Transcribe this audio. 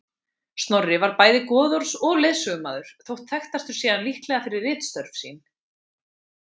Snorri var bæði goðorðs- og lögsögumaður þótt þekktastur sé hann líklega fyrir ritstörf sín.